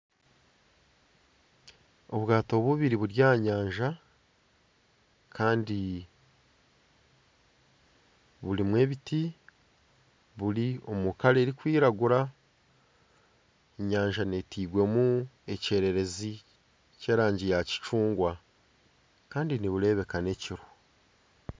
Obwaato bubiri buri aha nyanja kandi burimu ebiti buri omu kara erikwiragura enyanja etairwemu ekyererezi ky'erangi ya kicungwa kandi nibureebeka n'ekiro.